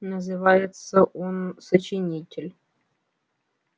называется он сочинитель